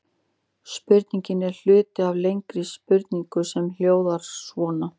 Spurningin er hluti af lengri spurningu sem hljóðar svona: